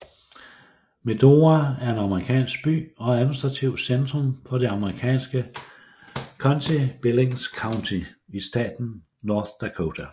Medora er en amerikansk by og administrativt centrum for det amerikanske county Billings County i staten North Dakota